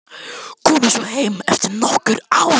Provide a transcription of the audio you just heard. Komið svo heim eftir nokkur ár.